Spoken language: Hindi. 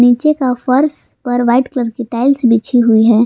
नीचे का फर्श पर व्हाइट कलर की टाइल्स बिछी हुई है।